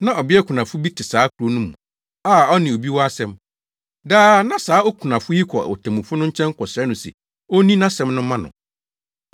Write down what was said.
Na ɔbea kunafo bi te saa kurow no mu a ɔne obi wɔ asɛm. Daa na saa okunafo yi kɔ otemmufo no nkyɛn kɔsrɛ no se onni nʼasɛm no mma no.